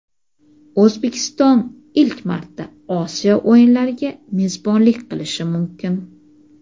O‘zbekiston ilk marta Osiyo o‘yinlariga mezbonlik qilishi mumkin.